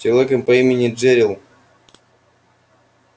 с человеком по имени джерилл